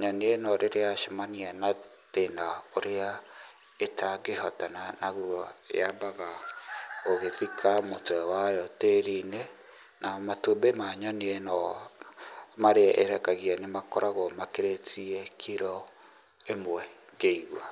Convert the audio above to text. nyoni ĩno rĩrĩa yacemania na thĩna ũrĩa ĩtangĩhotana naguo, yambaga gũgĩthika mũtwe wayo tĩri-inĩ na matumbĩ ma nyoni ĩno marĩa ĩrekagia nĩ makoragwo makĩrĩtie kiro ĩmwe ngĩigua.